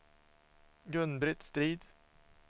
Gun-Britt Strid